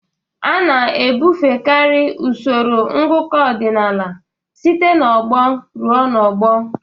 A na-ebufekarị usoro ngụkọ ọdịnala site n'ọgbọ ruo n'ọgbọ.